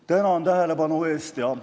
Tänan tähelepanu eest!